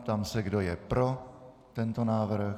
Ptám se, kdo je pro tento návrh.